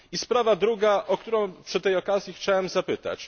I sprawa druga, o którą przy tej okazji chciałem zapytać.